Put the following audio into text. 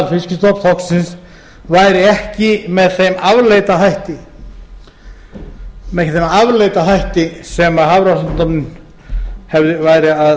aðalfiskstofns þorsksins væri ekki með þeim afleita hætti sem hafrannsóknastofnun væri að spá fyrir